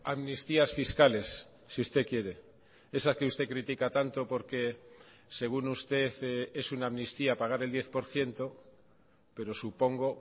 amnistías fiscales si usted quiere esa que usted critica tanto porque según usted es una amnistía pagar el diez por ciento pero supongo